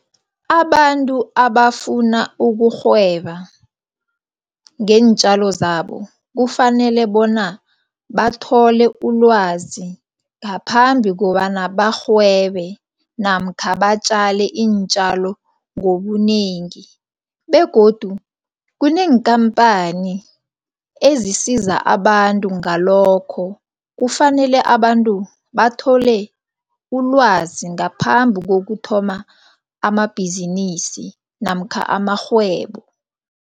Abantu abafuna ukurhweba ngeentjalo zabo kufanele bona bathole ulwazi ngaphambi kobana bamarhwebe namkha batjale iintjalo ngobunengi begodu kuneenkhamphani ezisiza abantu ngalokho, kufanele abantu bathole ulwazi ngaphambi kokuthoma amabhizinisi namkha amarhwebo.